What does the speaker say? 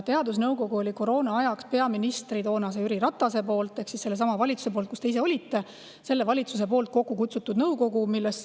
Teadusnõukogu oli koroonaajaks toonase peaministri Jüri Ratase ehk sellesama valitsuse, kus te ise olite, kokku kutsutud nõukogu.